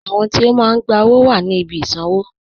Àwọn tí o máa n gbà owó wà ní ìbí ìṣanwọ̀